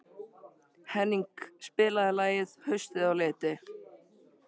Henning, spilaðu lagið „Haustið á liti“.